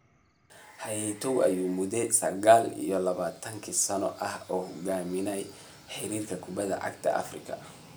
Hayatou ayaa mudo sagaal iyo labataan sano ah hogaaminayay xiriirka kubadda cagta Afrika